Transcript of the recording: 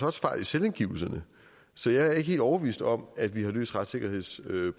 også fejl i selvangivelserne så jeg er ikke helt overbevist om at vi har løst retssikkerhedsproblemet